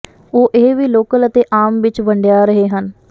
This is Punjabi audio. ਉਹ ਇਹ ਵੀ ਲੋਕਲ ਅਤੇ ਆਮ ਵਿੱਚ ਵੰਡਿਆ ਰਹੇ ਹਨ